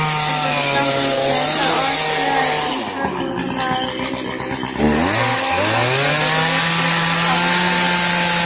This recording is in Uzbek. O‘zbekiston Prezidenti Osiyo infratuzilmaviy investitsiyalar banki delegatsiyasini qabul qildi.